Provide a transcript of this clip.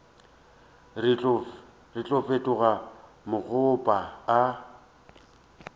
re tlo fetoga makgoba a